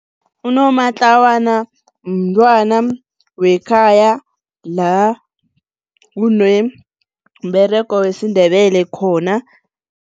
Unomatlawana mntwana wekhaya la kunomberego wesiNdebele khona.